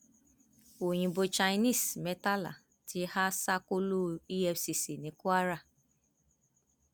wàhálà bẹ sílẹ láàrin ẹgbẹ awakọ ọsun àti akọwé pdp tẹlẹ